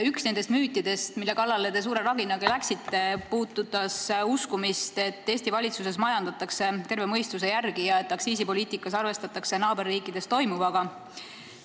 Üks nendest müütidest, mille kallale te suure rabinaga läksite, puudutas usku, et Eesti valitsuses majandatakse terve mõistuse järgi ja aktsiisipoliitikas arvestatakse naaberriikides toimuvaga.